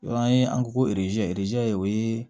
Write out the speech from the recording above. an ye an ko ko o ye